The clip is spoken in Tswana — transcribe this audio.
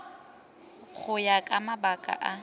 go ya ka mabaka a